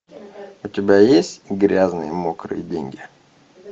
у тебя есть грязные мокрые деньги